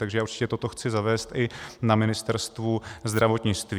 Takže já určitě toto chci zavést i na Ministerstvu zdravotnictví.